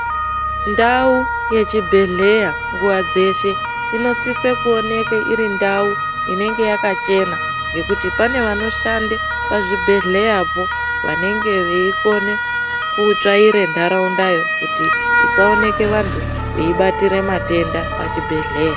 Ndau ye chibhedhleya nguva dzeshe ino sisa kuoneke iri ndau inenge yaka chena ngekuti pane vano shande pa zvibhedhlera po vanenge vei kone kuno tsvaire ndarunda yoo isa oneke antu echi batira denda pa chibhedhlera.